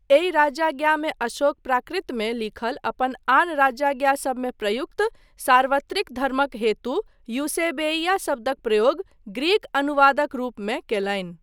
एहि राजाज्ञामे अशोक प्राकृतमे लिखल अपन आन राजाज्ञासबमे प्रयुक्त 'सार्वत्रिक धर्मक' हेतु यूसेबेइया शब्दक प्रयोग ग्रीक अनुवादक रूपमे कयलनि।